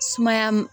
Sumaya